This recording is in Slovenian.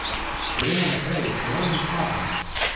Gremo naprej, k novim zmagam.